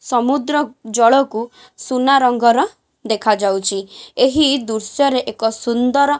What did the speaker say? ସମୁଦ୍ର ଜଳକୁ ସୁନା ରଙ୍ଗର ଦେଖା ଯାଉଚି ଏହି ଦୃଶ୍ୟ ରେ ଏକ ସୁନ୍ଦର --